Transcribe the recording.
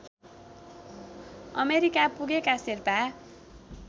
America पुगेका शेर्पा